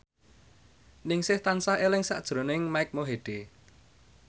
Ningsih tansah eling sakjroning Mike Mohede